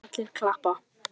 Allir klappa.